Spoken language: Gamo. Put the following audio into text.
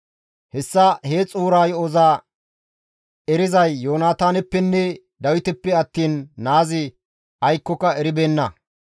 Hessa he xuura yo7oza erizay Yoonataaneppenne Dawiteppe attiin naazi aykkoka eribeenna.